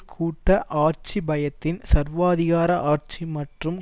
கூட்ட ஆட்சி பயத்தின் சர்வாதிகார ஆட்சி மற்றும்